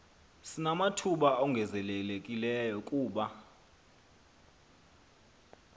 sinamathuba ongezelelekileyo kuba